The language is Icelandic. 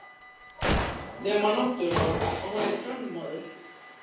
Nema náttúrlega að hún er kvenmaður.